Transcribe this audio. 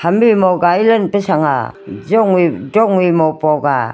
magai pe chang a dong e mo po chang a.